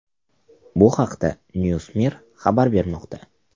Bu haqda NewsMir xabar bermoqda .